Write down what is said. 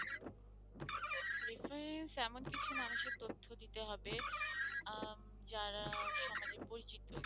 reference এমন কিছু মানুষের তথ্য দিতে হবে আহ যারা সমাজে পরিচিত,